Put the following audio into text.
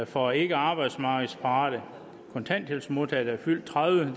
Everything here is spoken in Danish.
for ikke arbejdsmarkedsparate kontanthjælpsmodtagere der er fyldt tredive